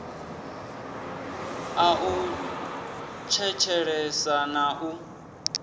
ḽa u tshetshelesa na u